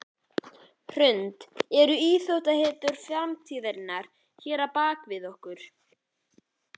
Hrund: Eru íþróttahetjur framtíðarinnar hérna bak við okkur?